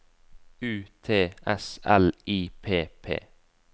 U T S L I P P